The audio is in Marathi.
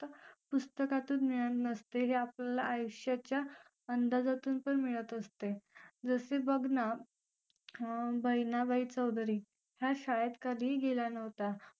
पुस्तकातून मिळत नसते हे आपल्याला आयुष्याच्या अंदाजातून पण मिळत असते जसे बघ ना बहिणाबाई चौधरी ह्या शाळेत कधीही गेल्या नव्हत्या